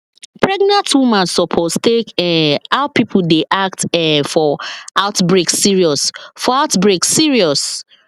pregnant woman suppose take um how people dey act um for outbreak serious for outbreak serious